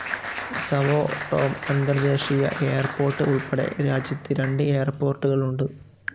Sao Tome അന്തർദേശീയ airport ഉൾപ്പെടെ രാജ്യത്ത് രണ്ട് എയർപോർട്ടുകളുണ്ട്.